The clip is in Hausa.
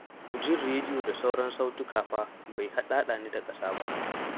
Jin rediyo da sauran sautuka fa bai ɗaɗa ni da ƙasa ba.